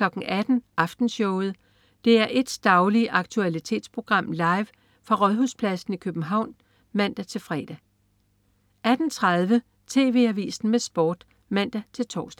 18.00 Aftenshowet. DR1's daglige aktualitetsprogram, live fra Rådhuspladsen i København (man-fre) 18.30 TV Avisen med Sport (man-tors)